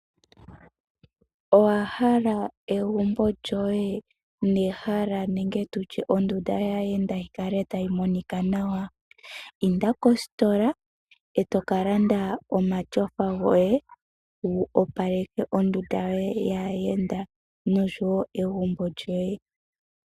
Owaha egumbo lyoye nehala nenge tutye ondunda yaayenda yikale tayi monika nawa? Inda kositola eto kalanda omatyofa goye wu opaleke ondunda yoye yaayenda nosho wo egumbo lyoye.